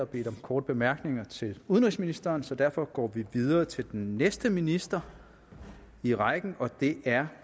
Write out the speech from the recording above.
bedt om korte bemærkninger til udenrigsministeren så derfor går vi videre til den næste minister i rækken og det er